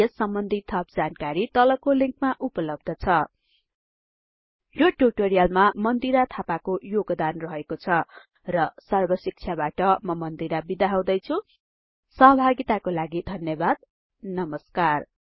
यस सम्बन्धि थप जानकारी तलको लिंकमा उपलब्ध छ यो ट्युटोरियलमा मन्दिरा थापाको योगदान रहेको छ र सर्बशिक्षाबाट म मन्दिरा बिदा हुदैछुँ सहभागिताको लागि धन्यबाद नमस्कार